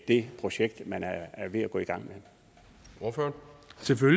det projekt man er ved at gå i gang